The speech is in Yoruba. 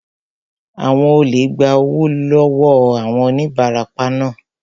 Àwọn olè gba owó lọ wọọ àwọn onibarapa naa